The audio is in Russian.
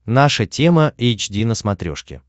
наша тема эйч ди на смотрешке